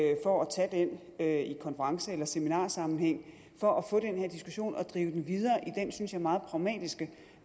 tage den i konference eller seminarsammenhæng for at få den her diskussion og drive den videre i den synes jeg meget pragmatiske